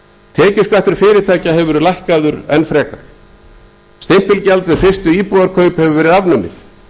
tekjuskattur fyrirtækja hefur verið lækkaður enn frekar stimpilgjald við fyrstu íbúðarkaup hefur verið afnumið